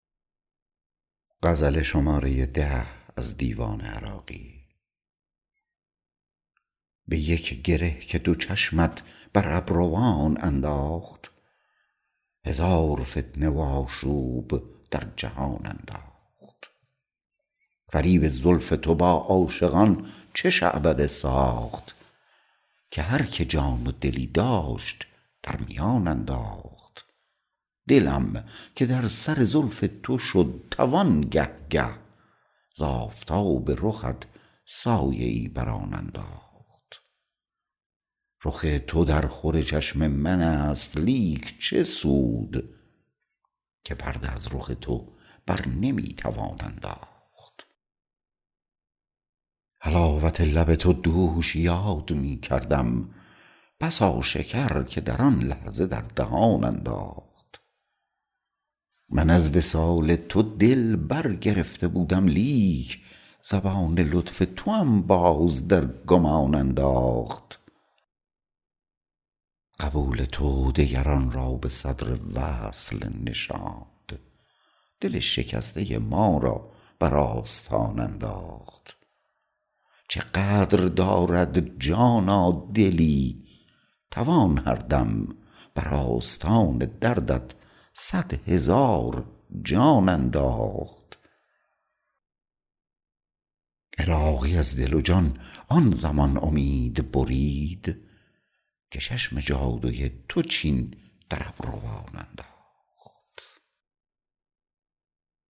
به یک گره که دو چشمت بر ابروان انداخت هزار فتنه و آشوب در جهان انداخت فریب زلف تو با عاشقان چه شعبده ساخت که هر که جان و دلی داشت در میان انداخت دلم که در سر زلف تو شد توان گه گه ز آفتاب رخت سایه ای بر آن انداخت رخ تو در خور چشم من است لیک چه سود که پرده از رخ تو برنمی توان انداخت حلاوت لب تو دوش یاد می کردم بسا شکر که در آن لحظه در دهان انداخت من از وصال تو دل برگرفته بودم لیک زبان لطف توام باز در گمان انداخت قبول تو دگران را به صدر وصل نشاند دل شکسته ما را بر آستان انداخت چه قدر دارد جانا دلی توان هردم بر آستان درت صدهزار جان انداخت عراقی از دل و جان آن زمان امید برید که چشم جادوی تو چین در ابروان انداخت